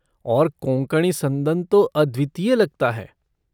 और कोंकणी संदन तो अद्वितीय लगता है।